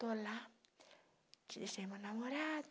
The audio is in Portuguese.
Estou lá, te deixei meu namorado.